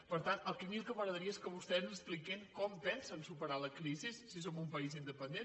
per tant a mi el que m’agradaria és que vostès ens expliquin com pensen superar la crisi si som un país independent